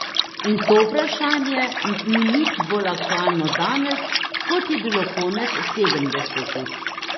In to vprašanje ni nič bolj aktualno danes, kot je bilo konec sedemdesetih.